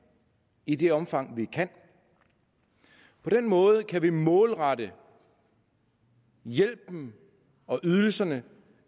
i det omfang vi kan på den måde kan vi målrette hjælpen og ydelserne